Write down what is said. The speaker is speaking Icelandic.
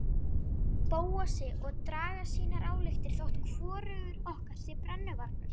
Bóasi og draga sínar ályktanir þótt hvorugur okkar sé brennuvargur.